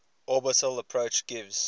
orbital approach gives